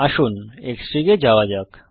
আসুন Xfig এ যাওয়া যাক